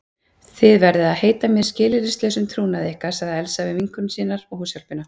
Þið verðið að heita mér skilyrðislausum trúnaði ykkar sagði Elsa við vinkonur sínar og húshjálpina.